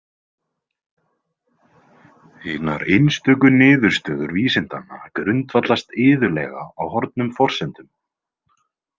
Hinar einstöku niðurstöður vísindanna grundvallast iðulega á horfnum forsendum.